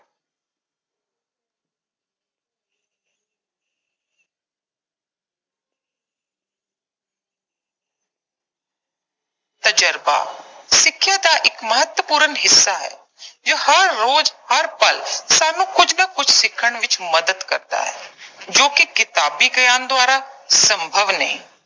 ਤਜਰਬਾ। ਸਿੱਖਿਆ ਦਾ ਇੱਕ ਮਹੱਤਵਪੂਰਨ ਹਿੱਸਾ ਹੈ, ਜੋ ਹਰ ਰੋਜ਼, ਹਰ ਪਲ ਸਾਨੂੰ ਕੁਝ ਨਾ ਕੁਝ ਸਿੱਖਣ ਵਿੱਚ ਮਦਦ ਕਰਦਾ ਹੈ, ਜੋ ਕਿ ਕਿਤਾਬੀ ਗਿਆਨ ਦੁਆਰਾ ਸੰਭਵ ਨਹੀਂ।